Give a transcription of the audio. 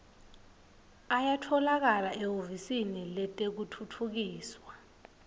ayatfolakala ehhovisi letekutfutfukiswa